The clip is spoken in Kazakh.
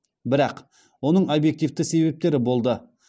бірақ оның объективті себептері болды